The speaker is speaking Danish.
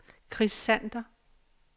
Chris Sander